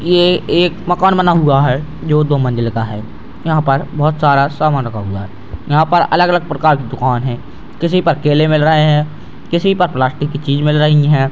ये एक मकान बना हुआ है जो दो मंजिल का है। यहाँ पर बहुत सारा समान रखा हुआ है। यहाँ पर अलग-अलग प्रकार की दुकान हैं किसी पर केले मिल रहें हैं किसी पर प्लास्टिक की चीज मिल रही हैं।